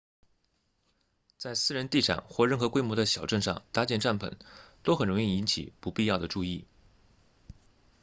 在私人地产或任何规模的小镇上搭建帐篷都很容易引起不必要的注意